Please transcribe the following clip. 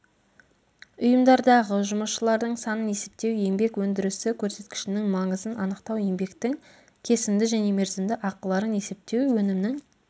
ұйымдардағы жұмысшылардың санын есептеу еңбек өндірісі көрсеткішінің маңызын анықтау еңбектің кесімді және мерзімді ақыларын есептеу өнімнің